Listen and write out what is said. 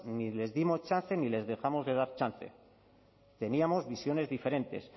ni les dimos chance ni les dejamos de dar chance teníamos visiones diferentes